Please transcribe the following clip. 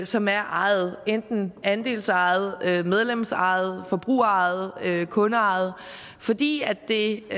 som er ejet enten andelsejet medlemsejet forbrugerejet kundeejet fordi det